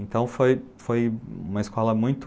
Então foi, foi uma escola muito...